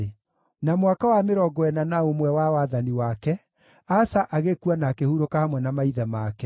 Na mwaka wa mĩrongo ĩna na ũmwe wa wathani wake, Asa agĩkua na akĩhurũka hamwe na maithe make.